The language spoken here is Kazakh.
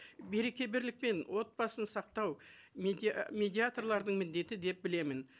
береке бірлік пен отбасын сақтау медиаторлардың міндеті деп білемін